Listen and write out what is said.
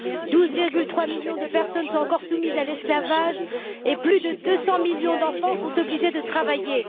12,3 millions de personnes sont encore soumises à l'esclavage et plus de 200 millions d'enfants sont obligés de travailler.